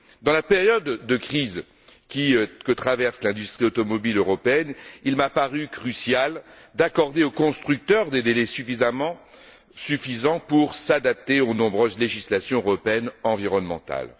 Dans la période de crise que traverse l'industrie automobile européenne, il m'a paru crucial d'accorder aux constructeurs des délais suffisants pour s'adapter aux nombreuses législations européennes environnementales.